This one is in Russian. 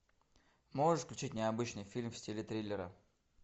можешь включить необычный фильм в стиле триллера